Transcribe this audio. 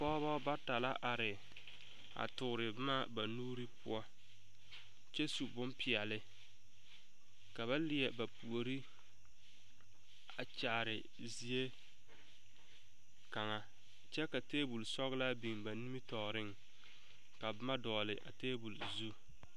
Pɔgebɔ bata la are a toore boma na nuuri poɔ kyɛ su boŋpeɛle ka ba leɛ ba pouri a kyaare zie kaŋ kyɛ ka tabol sɔglaa biŋ ba nimitɔɔriŋ ka boma dɔgle a tabol zu.